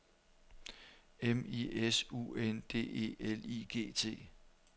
M I S U N D E L I G T